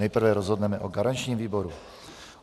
Nejprve rozhodneme o garančním výboru.